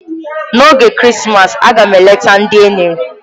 N'oge Krismas, a ga m eleta ndị enyi m.